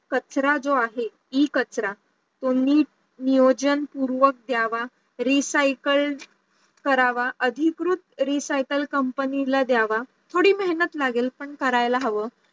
कचरा जो आहे इ कचरा तो नीट नियोजन पूर्वक द्यावा recycled करावा अधिकृत recycle company ला द्यावा थोडी मेहनत लागेल पण करायला हवं